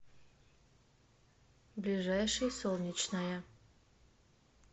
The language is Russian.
ближайший солнечная